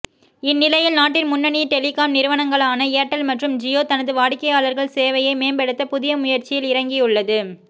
இந்நிலையில் நாட்டின் முன்னணி டெலிகாம் நிறுவனங்களான ஏர்டெல் மற்றும் ஜியோ தனது வாடிக்கையாளர் சேவையை மேம்படுத்த புதிய முயற்சியில் இறங்கியுள்ளது